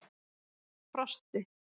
Frosti